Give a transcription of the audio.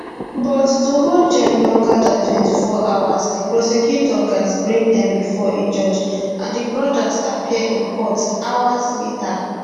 but to hold dem longer dan 24 hours di prosecutors gatz bring dem bifor a judge and di brothers appear in court hours later